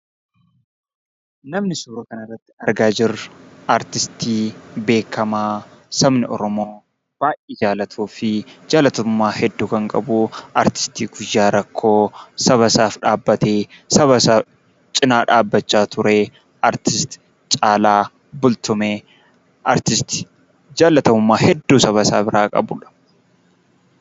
Namni suuraa kanarratti argaa jirru, Artistii beekamaa sabni Oromoo baay'ee jaalatuu fi jaalatamummaa hedduu kan qabu, Artisti guyyaa rakkoo sabasaaf dhaabbatee, sabasaa cinaa dhaabbachaa ture Artisti Caalaa Bultumee, Artisti jaalatamummaa hedduu sabasaa biraa qabudha.